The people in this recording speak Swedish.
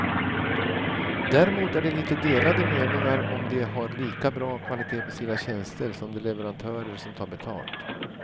Däremot är det lite delade meningar om de har lika bra kvalitet på sina tjänster som de leverantörer som tar betalt.